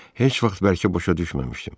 Heç vaxt bəlkə başa düşməmişdim.